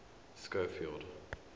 schofield